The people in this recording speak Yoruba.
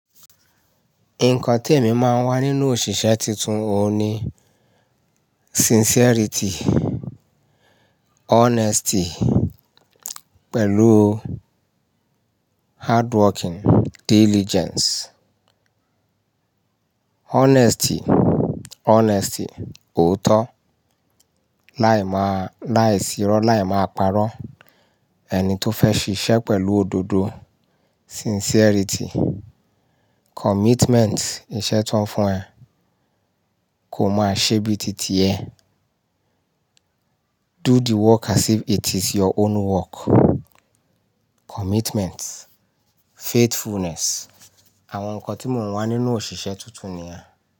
Nǹkan tí èmi máa ń wá nínú òṣìṣẹ́ titun òun ni sincerity, honesty pẹ̀lú hardworking, diligence. Honesty, honesty, òótọ́, láì máa, láì sírọ́, láì máa parọ́. Ẹni tó fẹ́ ṣíṣe pẹ̀lú òdodo, sincerity, commitment, iṣẹ́ tó ń fún ẹ kò máa ṣe bíi títí ẹ. Do the work as if it is your own work. Commitment, faithfulness, àwọn nǹkan tí mò ń wá nínú òṣìṣẹ́ tuntun ni yẹn.